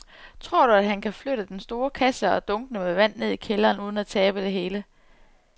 Tror du, at han kan flytte den store kasse og dunkene med vand ned i kælderen uden at tabe det hele?